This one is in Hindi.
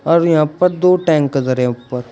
और यहां पर दो टैंक धरे हैं ऊपर--